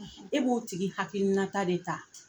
E b'o tigi hakilina ta de ta.